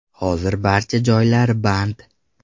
Hozir barcha joylar band.